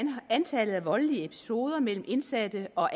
antallet af voldelige episoder mellem indsatte og